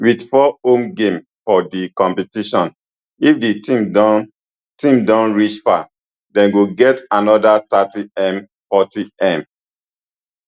wit four home games for di competition if di team don team don reach far dem go get anoda thirtymfortym